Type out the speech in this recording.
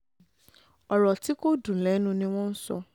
ọ̀rọ̀ tí kò dùn lẹ́nu ni wọ́n ń sọ